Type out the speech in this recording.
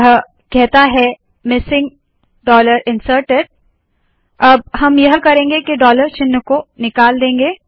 यह कहता है मिसिंग डॉलर इन्सर्टेड अब हम यह करेंगे के डॉलर चिन्हों को निकाल देंगे